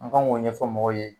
An k'an k'o ɲɛfɔ mɔgɔw ye.